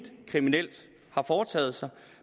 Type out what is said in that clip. kriminelt har foretaget sig